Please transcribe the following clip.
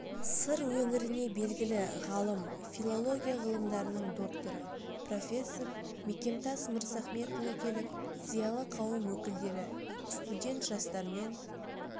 сыр өңіріне белгілі ғалым филология ғылымдарының докторы профессор мекемтас мырзахметұлы келіп зиялы қауым өкілдері студент жастармен